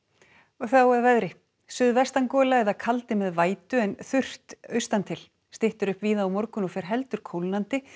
þá að veðri suðvestangola eða kaldi með vætu en þurrt austan til styttir upp víða á morgun og fer heldur kólnandi